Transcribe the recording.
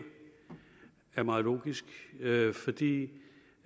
er meget logisk fordi